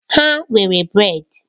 Ha nwere brèd.